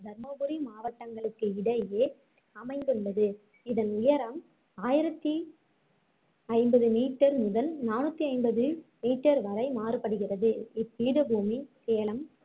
தர்மபுரி மாவட்டங்களுக்கு இடையே அமைந்துள்ளது இதன் உயரம் ஆயிரத்தி ஐம்பது meter முதல் நானுத்தி ஐம்பது meter வரை மாறுபடுகிறது இப்பீடபுமி சேலம்